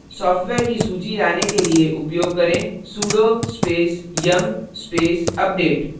software की सूची लाने के लिए उपयोग करें sudo space yum space update